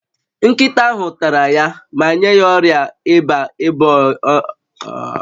Nkịta ahụ tara ya ma nye ya ọrịa ịba ịba ọcha n'anya